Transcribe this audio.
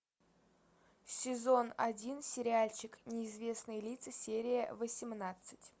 сезон один сериальчик неизвестные лица серия восемнадцать